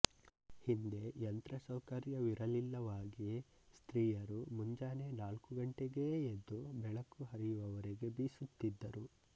ಹಿಂದೆ ಯಂತ್ರಸೌಕರ್ಯವಿರಲಿಲ್ಲವಾಗಿ ಸ್ತ್ರೀಯರು ಮುಂಜಾನೆ ನಾಲ್ಕು ಗಂಟೆಗೇ ಎದ್ದು ಬೆಳಕು ಹರಿಯುವ ವರೆಗೆ ಬೀಸುತ್ತಿದ್ದರು